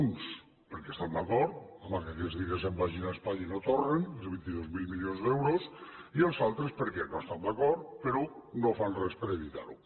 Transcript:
uns perquè estan d’acord que aquests diners se’n vagin a espanya i no tornin més de vint dos mil milions d’euros i els altres perquè no hi estan d’acord però no fan res per evitar ho